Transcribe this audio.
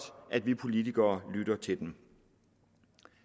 at vi politikere lytter til dem